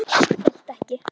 Hélt ekki.